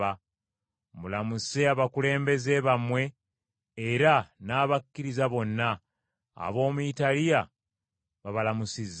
Mulamuse abakulembeze bammwe era n’abakkiriza bonna. Ab’omu Italiya babalamusizza.